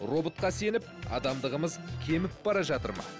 роботқа сеніп адамдығымыз кеміп бара жатыр ма